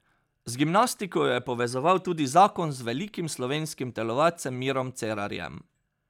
Z gimnastiko jo je povezoval tudi zakon z velikim slovenskim telovadcem Mirom Cerarjem.